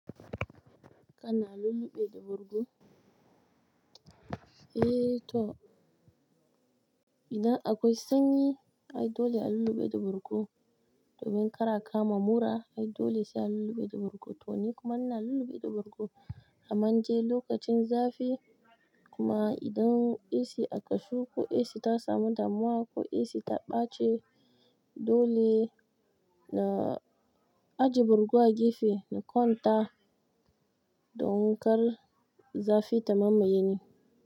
Kana lulluɓe da bargo? Eh to, idan akwai sanyi ai dole a lulluɓe da bargo, domin kar a kamu mura ai dole sai a lulluɓe da bargo. To nikuma ina lulluɓe da bargo, amman dai lokacin zafi, idan ac akashe ko ac tasamu damuwa ko ac ta baci dole na aje bargo a gefe in kwanta don kar zafi ta mamaye ni.